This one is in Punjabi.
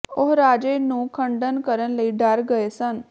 ਉਹ ਰਾਜੇ ਨੂੰ ਖੰਡਨ ਕਰਨ ਲਈ ਡਰ ਗਏ ਸਨ